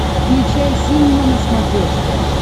включай синема на смотрешке